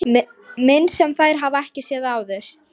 Mynd sem þær hafa ekki séð áður.